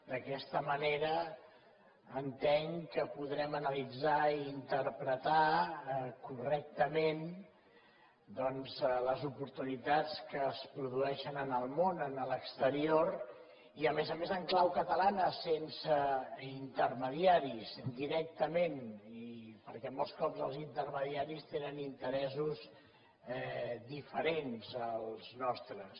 d’aquesta manera entenc que podrem analitzar i interpretar correctament doncs les oportunitats que es produeixen en el món en l’exterior i a més a més en clau catalana sense intermediaris directament i perquè molts cops els intermediaris tenen interessos diferents als nostres